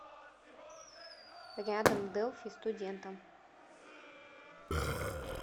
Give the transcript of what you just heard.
рядом делфи студентам